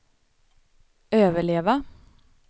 överleva